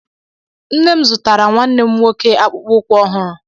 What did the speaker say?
Nne m zụtara nwanne m nwoke akpụkpọ ụkwụ ọhụrụ.